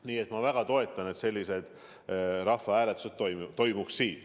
Aga jah, ma väga toetan, et sellised rahvahääletused toimuks.